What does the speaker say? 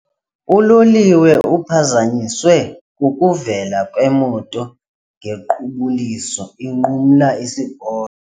Uloliwe uphazanyiswe kukuvela kwemoto ngequbuliso inqumla isiporo.